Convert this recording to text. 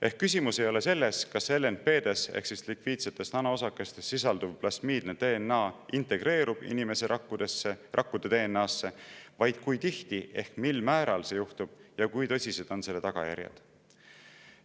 Ehk küsimus ei ole selles, kas LNP-des ehk lipiidsetes nanoosakestes sisalduv plasmiidne DNA integreerub inimese rakkude DNA-sse, vaid kui tihti ehk mil määral see juhtub ja kui tõsised on selle tagajärjed.